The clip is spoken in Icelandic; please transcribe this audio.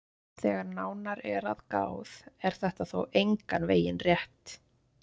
Þegar nánar er að gáð er þetta þó engan veginn rétt.